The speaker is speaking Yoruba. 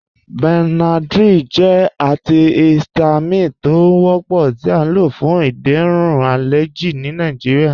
Benadryl jẹ antihistamine tó ń wọ́pọ̀ tí à ló fún ìdérún alẹjì ní Nàìjíríà.